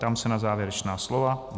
Ptám se na závěrečná slova.